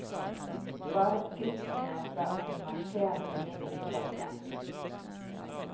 Bare skrittene fra en marsjerende middelklasse.